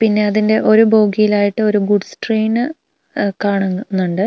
പിന്നെ അതിന്റെ ഒരു ബോഗിയിലായിട്ട് ഒരു ഗുഡ്സ് ട്രെയിന് ഉഹ് കാണുന്നുണ്ട്.